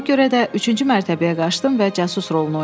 Buna görə də üçüncü mərtəbəyə qaçdım və casus rolunu oynadım.